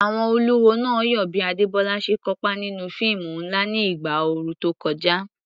Àwọn olùwò náà yọ̀ bí Adebola ṣe kópa nínú fíìmù ńlá ní ìgbà ooru tó kọjá.